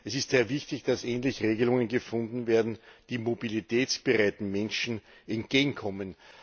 Es ist sehr wichtig, dass endlich Regelungen gefunden werden, die mobilitätsbereiten Menschen entgegenkommen.